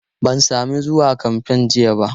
Ban sami zuwa kamfen jiya ba.